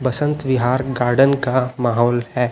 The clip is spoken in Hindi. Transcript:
बसंत विहार गार्डन का माहौल है।